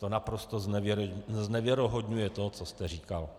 To naprosto znevěrohodňuje to, co jste říkal.